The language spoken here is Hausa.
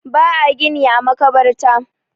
ba a gini a makabarta